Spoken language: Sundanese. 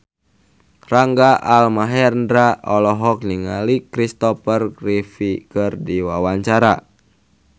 Rangga Almahendra olohok ningali Christopher Reeve keur diwawancara